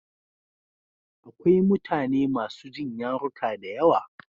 Akwai mutane masu jin yaruka da yawa.